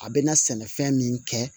A bɛna sɛnɛfɛn min kɛ